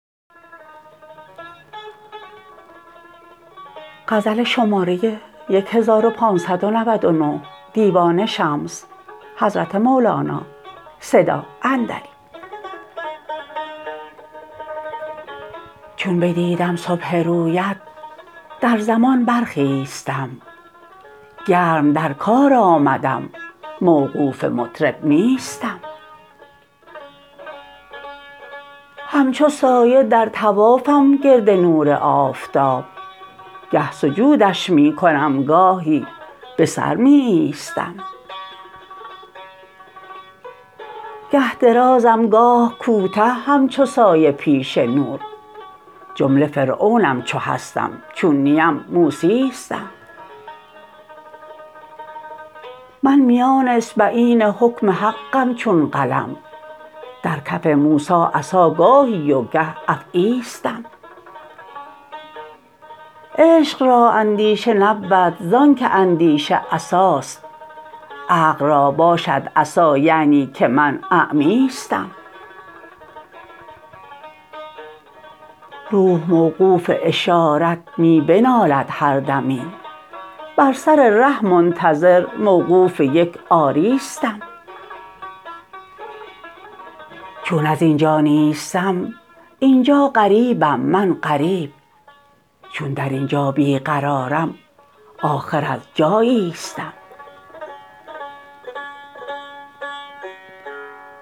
چون بدیدم صبح رویت در زمان برخیستم گرم در کار آمدم موقوف مطرب نیستم همچو سایه در طوافم گرد نور آفتاب گه سجودش می کنم گاهی به سر می ایستم گه درازم گاه کوته همچو سایه پیش نور جمله فرعونم چو هستم چون نیم موسیستم من میان اصبعین حکم حقم چون قلم در کف موسی عصا گاهی و گه افعیستم عشق را اندیشه نبود زانک اندیشه عصاست عقل را باشد عصا یعنی که من اعمیستم روح موقوف اشارت می بنالد هر دمی بر سر ره منتظر موقوف یک آریستم چون از این جا نیستم این جا غریبم من غریب چون در این جا بی قرارم آخر از جاییستم